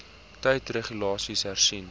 tyd regulasies hersien